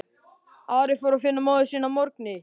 Ari fór að finna móður sína að morgni.